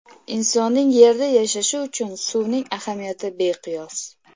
Insonning Yerda yashashi uchun suvning ahamiyati beqiyos.